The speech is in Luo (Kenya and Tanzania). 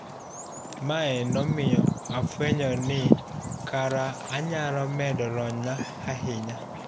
Mae nomiyo afuenyo ni kara anyalo medo lonyna ahinya,